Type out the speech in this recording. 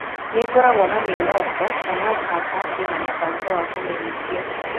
Nĩ ngoragwo na mĩoroto, no no mũhaka ngĩe na mũbango wa kũmĩhingia.